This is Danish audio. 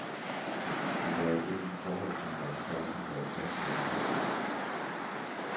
Men der er et enkelt forhold, som vores folk har været tossede over.